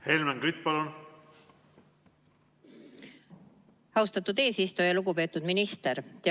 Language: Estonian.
Helmen Kütt, palun!